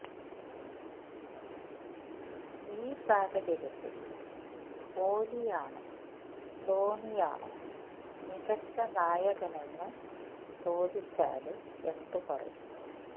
ഈ സാഹചര്യത്തില് കോലിയോണോ ധോനിയാണോ മികച്ച നായകനെന്നു ചോദിച്ചാല് എന്തു പറയും